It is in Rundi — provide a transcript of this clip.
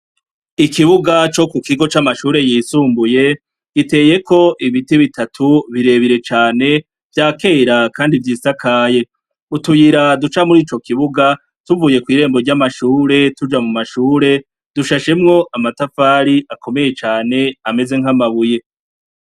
Ikibuga co ku kigo c'amashure yisumbuye giteyeko ibiti bitatu birebire cane vyakera kandi vyisakaye, utuyira duca mur'ico kibuga tuvuye kw'irembo ry'amashure tuja mu mashure dushashemwo amatafari akomeye cane ameze nk'amabuye.